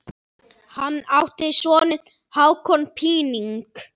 Hann átti soninn Hákon Píning.